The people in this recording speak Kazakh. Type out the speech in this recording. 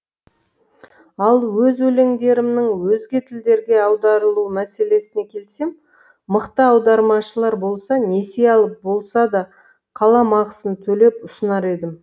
ал өз өлеңдерімнің өзге тілдерге аударылу мәселесіне келсем мықты аудармашылар болса несие алып болса да қаламақысын төлеп ұсынар едім